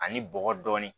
Ani bɔgɔ dɔɔnin